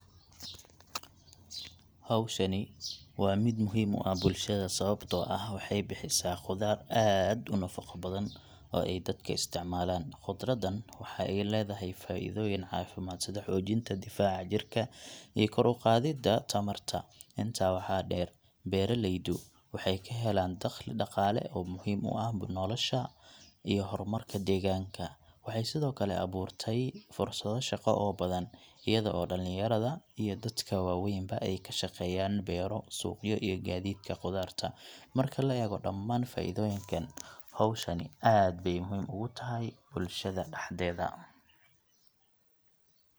Hawshani waa mid muhiim u ah bulshada sababtoo ah waxay bixisaa khudaar aad u nafaqo badan oo ay dadka isticmaalaan. Khudraddan waxa ay leedahay faa’iidooyin caafimaad sida xoojinta difaaca jirka iyo kor u qaadidda tamarta. Intaa waxaa dheer, beeralaydu waxay ka helaan dakhli dhaqaale oo muhiim u ah nolosha iyo horumarka deegaanka. Waxay sidoo kale abuurtay fursado shaqo oo badan, iyada oo dhalinyarada iyo dadka waaweynba ay ka shaqeeyaan beero, suuqyo, iyo gaadiidka khudaarta. Marka la eego dhammaan faa’iidooyinkan, hawshani aad bay muhiim ugu tahay bulshada dhexdeeda.